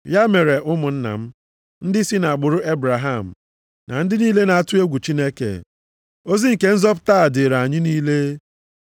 “Ya mere, ụmụnna m, ndị si nʼagbụrụ Ebraham na ndị niile na-atụ egwu Chineke, ozi nke nzọpụta a dịrị anyị niile.